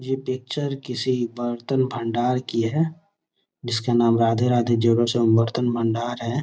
ये पिक्चर किसी बर्तन भंडार की हैं जिसका नाम राधे-राधे ज्वेलर्स भंडार हैं।